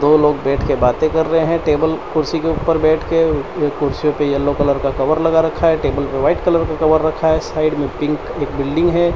दो लोग बैठके बातें कर रहे हैं टेबल कुर्सी के ऊपर बैठके ये कुर्सी पे येलो कलर का कवर लगा रखा है टेबल पे वाइट कलर का कवर रखा है साइड में पिंक एक बिल्डिंग है।